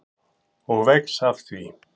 Og vex af því.